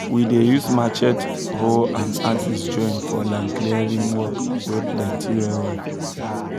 we dey use matchete hoe and axes join for land clearing work wey plenty well well